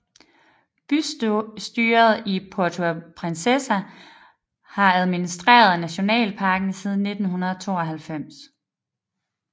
Bystyret i Puerto Princesa har administreret nationalparken siden 1992